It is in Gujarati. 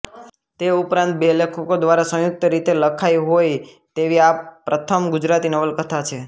તે ઉપરાંત બે લેખકો દ્વારા સંયુક્ત રીતે લખાઈ હોય તેવી આ પ્રથમ ગુજરાતી નવલકથા છે